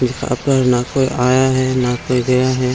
जहाँ पर ना कोई आया है ना कोई गया है।